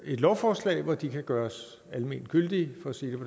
lovforslag hvor de kan gøres almengyldige